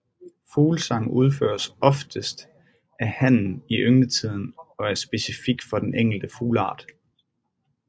Fuglesang udføres oftest af hannen i yngletiden og er specifik for den enkelte fugleart